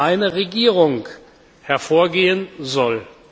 eine Regierung hervorgehen soll.